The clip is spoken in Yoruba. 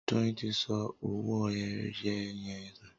Doyin tí sọ owoeye yén nù